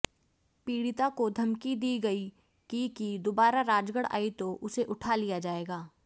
पीड़िता को धमकी दी गई की कि दुबारा राजगढ़ आई तो उसे उठा लिया जायेगा